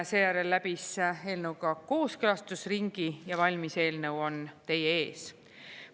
Seejärel läbis eelnõuga kooskõlastusringi ja valmis eelnõu on teie ees.